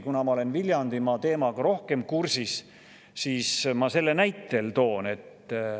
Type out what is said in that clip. Kuna ma olen Viljandimaa teemaga rohkem kursis, siis ma selle näitel.